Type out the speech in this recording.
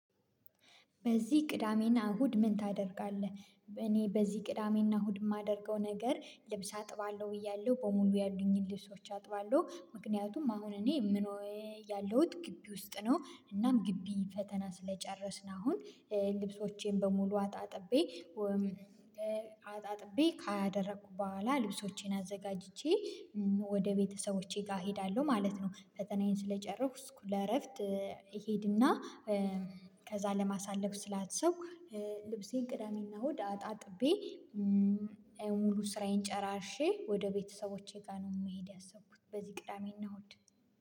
በዚህ ቅዳሜና እሁድ ምን ታደርጋለህ? እኔ በዚህ ቅዳሜና እሁድ የማደርገው ነገር ልብስ አጥባለሁ ብያለሁ በሙሉ ያሉኝን ልብሶች አጥባለሁ ምክንያቱም አሁን እኔ ምኖረው ያለሁት ግቢ ውስጥ ነው እናም ግቢ ፈተና ስለጨረስን አሁን ልብሶቼን በሙሉ አጣጥቤ ካደረኩ በኋላ ልብሶቼን አዘጋጅቼ ወደ ቤተሰቦቼ ጋር እሄዳለሁ ማለት ነው። ፈተናዬን ስለጨረስኩ ለእረፍት እሄድና ከዛ ለማሳለፍ ስላሰብኩ ልብሴን ቅዳሜና እሁድ አጣጥቤ ሙሉ ስራዬን ጨራርሼ ወደ ቤተሰቦቼ ጋር ነው መሄድ ያሰብኩት በዚህ ቅዳሜ እና እሁድ